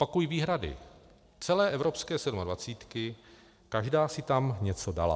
Opakuji, výhrady celé evropské sedmadvacítky, každá si tam něco dala.